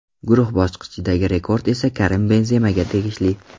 Guruh bosqichidagi rekord esa Karim Benzemaga tegishli.